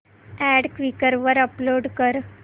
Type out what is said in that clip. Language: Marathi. अॅड क्वीकर वर अपलोड कर